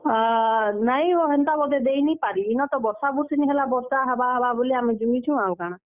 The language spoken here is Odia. ଆ, ନାଇଁ ହୋ ହେନ୍ତା ଦେଇ ନି ପାରି, ଇନ ତ ବର୍ଷା ହେବା ହେବା ବୋଲି ଆମେ ତ ଜୁଗିଛୁଁ ଆଉ କାଣା।